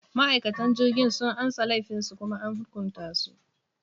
Ma’aikatan jirgin sun amsa laifinsu kuma an hukunta su.